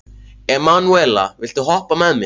Emanúela, viltu hoppa með mér?